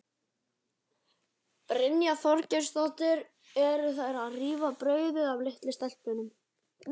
Brynja Þorgeirsdóttir: Eru þær að rífa brauðið af litlu stelpunni?